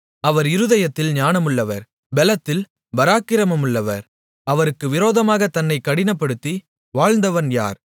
அவர் இருதயத்தில் ஞானமுள்ளவர் பெலத்தில் பராக்கிரமமுள்ளவர் அவருக்கு விரோதமாகத் தன்னைக் கடினப்படுத்தி வாழ்ந்தவன் யார்